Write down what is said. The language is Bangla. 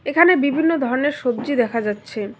এখানে বিভিন্ন ধরনের সবজি দেখা যাচ্ছে।